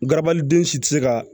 Garabaliden si tɛ se ka